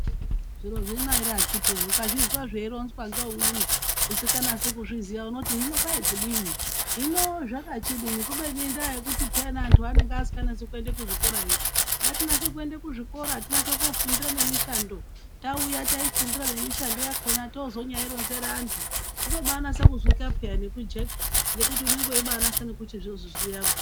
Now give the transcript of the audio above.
Zviro zvino ere akhiti woyee ukazvizwa zveironzwa ngeumweni usikanasi kuzviziya unoti hino kwai kudini? Hino zvakachidini? Kubeni indaa yekuti peyana antu anenge asinganasi kuenda kuzvikora yo. Ngatinase kuenda kuzvikora. Tinase koofundira nemishando. Tauya taifundira nemishando yakhona tozonyaironzera antu zvinobanasa kuzwika peyaa nekujeka. Ngekuti unenge weibanasa nekuchizozviziya.